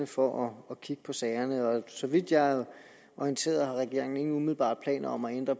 for at kigge på sagerne så vidt jeg er orienteret har regeringen ingen umiddelbare planer om at ændre